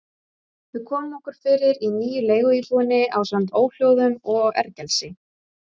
Við komum okkur fyrir í nýju leiguíbúðinni ásamt óhljóðum og ergelsi.